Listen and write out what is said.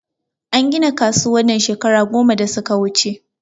An gina kasuwan nan shekara goma da suka wuche